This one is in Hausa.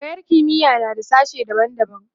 tsangayar kimiya na da sashe daban daban